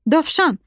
Dovşan!